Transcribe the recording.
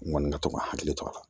N kɔni ka to ka hakili to a la